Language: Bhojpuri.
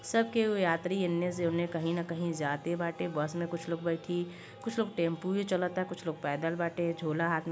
सब केहु यात्री एने उने कहीं कहीं जाते बाटे। बस मे कुछ लोग बैठी कुछ लोग टेम्पु भी चलत। कुछ लोग पैदल भी बाटे। झोला हाथ मे --